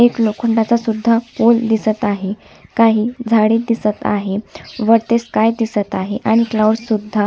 एक लोखंडाच सुद्धा पोल दिसत आहे काही झाड दिसत आहे वरती स्काय दिसत आहे आणि क्लाउड्स सुद्धा--